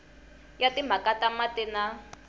ya timhaka ta mati na